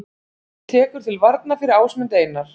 Tekur til varna fyrir Ásmund Einar